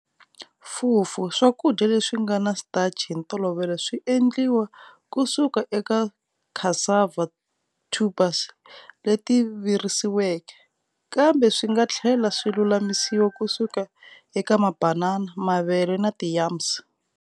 "Fufu"-swakudya leswingana starch hi ntolovelo swiendliwa kusuka eka ti cassava tubers leti virisiweke, kambe swinga tlhela swi lulamisiwa kusuka eka mabanana, mavele na ti yams.